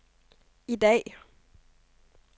i dag